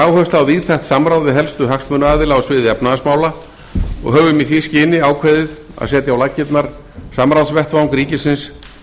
á víðtækt samráð við helstu hagsmunaaðila á sviði efnahagsmála og höfum í því skyni ákveðið að setja á laggirnar samráðsvettvang ríkisins